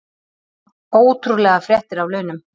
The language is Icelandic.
Ótrúlegar fréttir af launum